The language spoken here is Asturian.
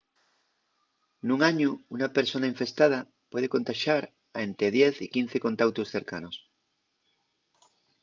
nun añu una persona infestada puede contaxar a ente 10 y 15 contautos cercanos